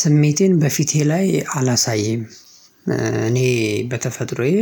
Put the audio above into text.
ስሜቴን በፊቴ ላይ አላሳየም እኔ በተፈጥሮዬ